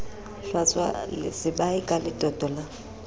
hlwatswa sebae ka letoto la